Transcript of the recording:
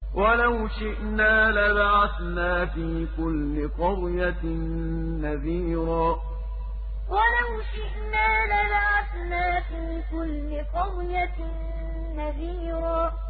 وَلَوْ شِئْنَا لَبَعَثْنَا فِي كُلِّ قَرْيَةٍ نَّذِيرًا وَلَوْ شِئْنَا لَبَعَثْنَا فِي كُلِّ قَرْيَةٍ نَّذِيرًا